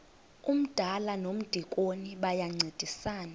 umdala nomdikoni bayancedisana